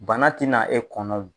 Bana tɛna e kɔnɔ o.